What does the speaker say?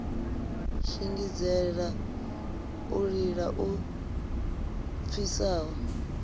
shingizhela u lila lu pfisaho